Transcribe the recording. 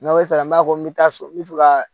N'aw sera n b'a fɔ ko n bɛ taa so n bɛ fɛ ka